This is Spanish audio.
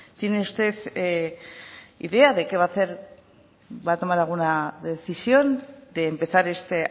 tiene usted idea de qué va a hacer va a tomar alguna decisión de empezar esta